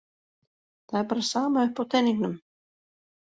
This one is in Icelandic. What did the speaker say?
Það er bara sama upp á teningnum.